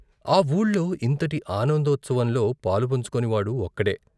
ఆ వూళ్ళో ఇంతటి ఆనందోత్సవంలో పాలుపంచుకోనివాడు ఒక్కడే.